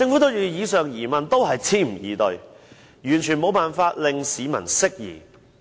對於以上疑問，政府只是支吾以對，完全無法令市民釋疑。